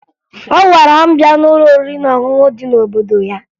Ọ gwara m bịa n'ụlọ oriri na ọṅụṅụ dị n'obodo ya